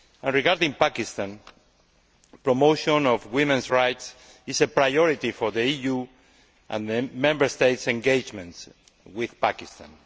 Regarding Pakistan, promotion of women's rights is a priority for the EU and Member States' engagement with Pakistan.